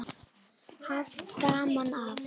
Haft gaman af.